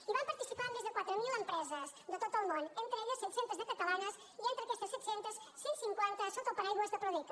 hi van participar més de quatre mil empreses de tot el món entre les quals set cents de catalanes i entre aquestes set cents cent i cinquanta sota el paraigua de prodeca